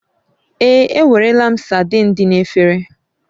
Èé, enwerela m saidin dị n'efere